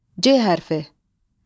C hərfi.